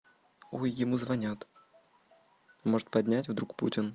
ой ему звонят может поднять вдруг путин